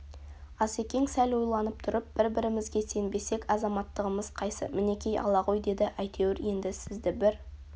асекең сәл ойланып тұрып бір-бірімізге сенбесек азаматтығымыз қайсы мінеки ала ғой деді әйтеуір енді сізді бір